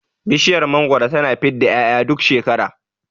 Bishiyar mangwaro tana fidda 'ya'ya duk shekara